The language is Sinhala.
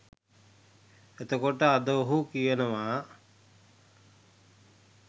එතකොට අද ඔහු කියනවා